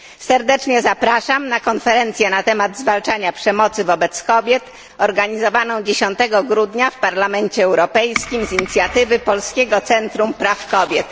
Serdecznie zapraszam na konferencję na temat zwalczania przemocy wobec kobiet organizowaną 10 grudnia w Parlamencie Europejskim z inicjatywy Polskiego Centrum Praw Kobiet.